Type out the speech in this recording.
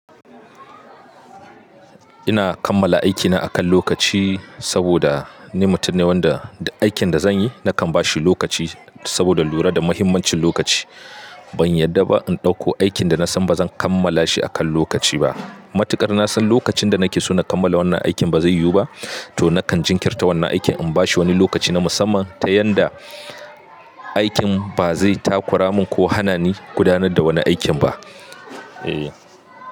Ina kammala aikina akan lokaci saboda ni mutum ne wanda duk aikin da zan yi nakan ba shi lokaci saboda lura da mahimmancin lokaci. Ban yarda ba in ɗauko aikin da na san ba zan kammala shi akan lokaci ba. Matuƙar na san lokacin da nake so na kammala wannan aikin ba zai yiwu ba, to nakan jinkirta wannan aikin in ba shi wani lokaci na musamman ta yanda aikin ba zai takura min ko hana ni gudanar da wani aikin ba. E.